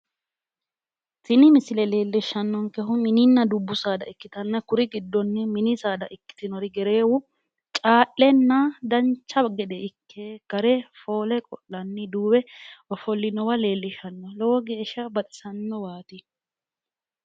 tini misile leellishshannonkehu mininna dubbu saada ikkitanna kuri giddonni mini saada ikkitinori gereewu caa'lenna dancha gede ikke gare foole qo'lanni duuwe ofo'linowa leellishshanno lowo geeshsha baxisannowaati.